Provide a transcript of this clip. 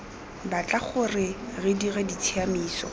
batla gore re dire ditshiamiso